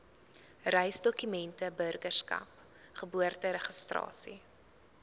reisdokumente burgerskap geboorteregistrasie